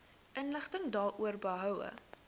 inligting daaroor behoue